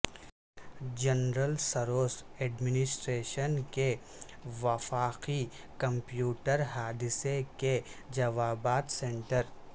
general service administration کے وفاقی computer حادثے کے جوابات سینٹر